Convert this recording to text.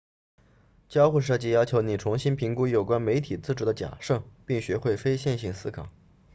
交互设计要求你重新评估有关媒体制作的假设并学会非线性思考